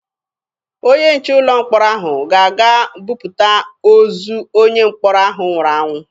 Onye nche ụlọ mkpọrọ ahụ ga-aga buputa ozu onye mkpọrọ ahụ nwụrụ anwụ.